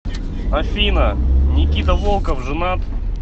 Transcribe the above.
афина никита волков женат